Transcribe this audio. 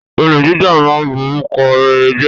Olè jíjà ma ń borúkọ rere jẹ́.